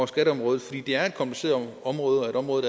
skatteområdet fordi det er et kompliceret område og et område